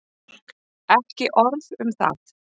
Ekki orð um það.